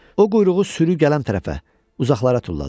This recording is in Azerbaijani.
O quyruğu sürü gələn tərəfə uzaqlara tulladı.